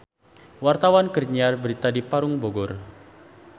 Wartawan keur nyiar berita di Parung Bogor